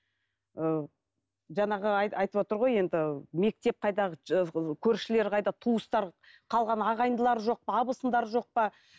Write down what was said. ыыы жаңағы айтыватыр ғой енді ыыы мектеп қайда көршілер қайда туыстар қалған ағайындылары жоқ па абысындары жоқ па